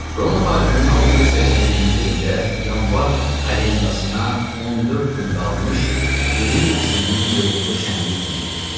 Roma tarixinin 682-ci ilində yanvar kalendasına 14 gün qalmış, Qvirin nəslinin gurultulu şənlik günü idi.